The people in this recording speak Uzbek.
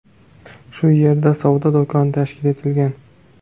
Shu yerda savdo do‘koni tashkil etilgan.